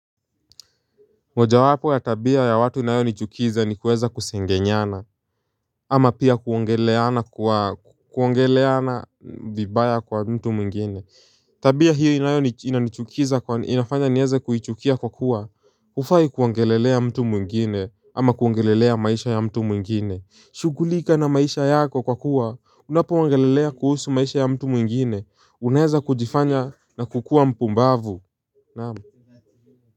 Moja wapo ya tabia ya watu inayo nichukiza ni kuweza kusengenyana. Ama pia kuongeleana kwa kuongeleana vibaya kwa mtu mwingine. Tabia hiyo inayoni inachukiza kwa inafanya nieze kuichukia kwa kuwa ufai kwongelelea mtu mwingine ama kwongelelea maisha ya mtu mwingine. Shughulika na maisha yako kwa kuwa unapoongelelea kuhusu maisha ya mtu mwingine unaeza kujifanya na kukua mpumbavu naam.